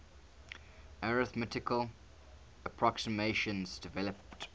arithmetical approximations developed